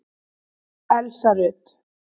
Elsa Rut.